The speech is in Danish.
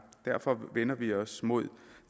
derfor vender vi os mod